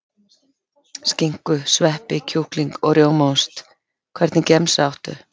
Skinku sveppi kjúkling og rjómaost Hvernig gemsa áttu?